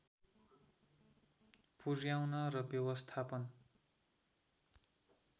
पुर्‍याउन र व्यवस्थापन